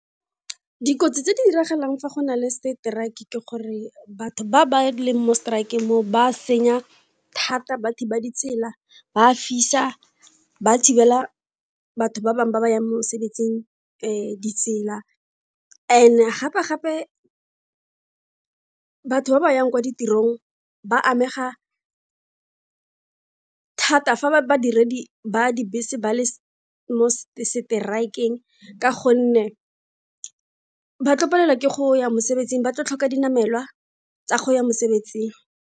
Dikotsi tse di diragalang fa go na le strike ke gore batho ba ba leng mo strike-ng moo ba a senya thata, ba thiba ditsela, ba a fisa, ba thibela batho ba bangwe ba ba yang mosebetsing ditsela and gape gape batho ba ba yang kwa ditirong ba amega thata fa ba badiredi ba dibese ba le mo strike-eng ka gonne ba tlo palelwa ke go ya mosebetsing ba tlo tlhoka dinamelwa tsa go ya mosebetsing.